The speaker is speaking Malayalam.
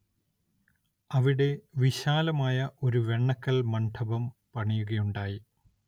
അവിടെ വിശാലമായ ഒരു വെണ്ണക്കൽ മണ്ഡപം പണിയുകയുണ്ടായി.